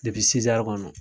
kɔnɔ